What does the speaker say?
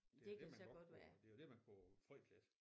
Det er det man godt kunne det jo det man kunne frygte lidt